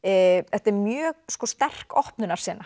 þetta er mjög sterk